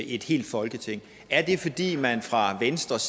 et helt folketing er det fordi man fra venstres